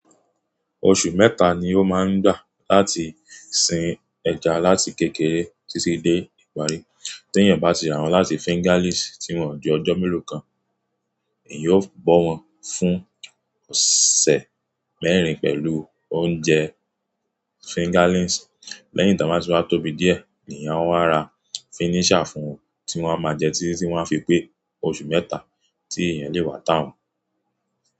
Oṣù mẹ́ta ni ó máa ń gbà láti sin ẹja láti kékeré títí dé ìparí. Tí èèyàn bá ti rà wọ́n láti fingerlings tí wọ́n ò di ọjọ́ mélòó kan, èèyàn yóò bọ́ wọn fún ọ̀sẹ̀ mẹ́rin pẹ̀lú oúnjẹ fingerlings. Lẹ́yìn tí wọ́n bá ti wá tóbi díẹ̀, èèyàn ó máa ra finisher fún wọn, tí wọ́n máa jẹ títí tí wọ́n fi pé oṣù mẹ́ta tí èèyàn lè wà tà wọ́n.